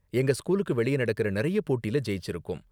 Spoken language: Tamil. எங்க ஸ்கூலுக்கு வெளிய நடக்கற நிறைய போட்டில ஜெயிச்சிருக்கோம்.